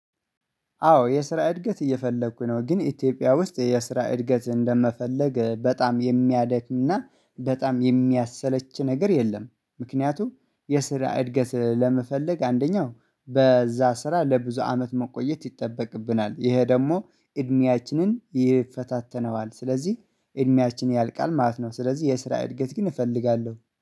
አዎ የስራ እድገት እየፈለኩኝ ነው። ግን ኢትዮጵያ ውስጥ የስራ እድገት እንደምፈልግ በጣም የሚያደክም እና በጣም የሚያሰለች ነገር የለም። ምክንያቱም የስራ እድገት ለመፈለግ አንደኛው በዛ ስራ ለብዙ አመት መቆየት ይጠበቅብናል። ይሄ ደግሞ እድሜያችንን ይፈታተነዋል ስለዚህ እድሜያችን ያልቃል ማለት ነው። ስለዚህ የስራ እድገት ግን እፈልጋለሁ።